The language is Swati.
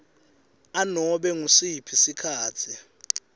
anobe ngusiphi sikhatsi